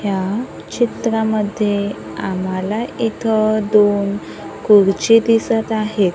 ह्या चित्रामध्ये आम्हांला इथ दोन खुर्ची दिसत आहेत.